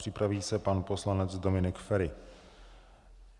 Připraví se pan poslanec Dominik Feri.